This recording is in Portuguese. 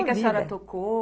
O que a senhora tocou?